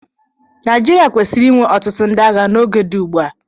Naijiria kwesịrị inwe ọtụtụ ndị agha n'oge dị ugbu a.